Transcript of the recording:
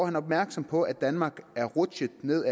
han opmærksom på at danmark er rutsjet ned